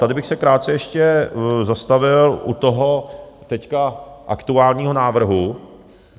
Tady bych se krátce ještě zastavil u toho teď aktuálního návrhu.